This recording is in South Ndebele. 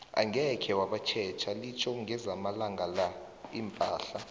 angeze wabatjela litho ngezamalanga la iimpahla